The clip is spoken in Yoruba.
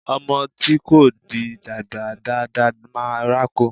Ọmọ tí kò tíì dàgbà dáa dáa máa rákò.